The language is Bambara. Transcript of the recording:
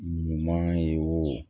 Ɲuman ye o